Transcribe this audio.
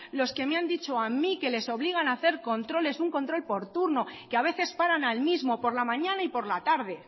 los que me han dicho a mí que les obligan a hacer controles un control por turno que a veces paran al mismo por la mañana y por la tarde